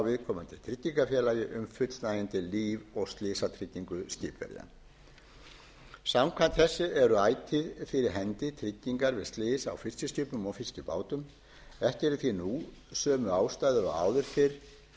viðkomandi tryggingafélagi um fullnægjandi líf og slysatryggingu skipverja samkvæmt þessu eru ætíð fyrir hendi tryggingar við slys á fiskiskipum og fiskibátum ekki eru því nú sömu ástæður